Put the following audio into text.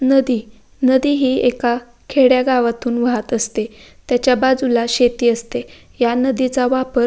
नदी नदी हि एका खेडेगावातून वाहत असते त्याच्याबाजूला शेती असते या नदीचा वापर--